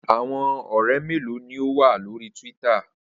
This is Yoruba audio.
Awọn ọrẹ melo ni o wa lori Twitter?